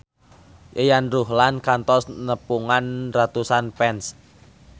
Yayan Ruhlan kantos nepungan ratusan fans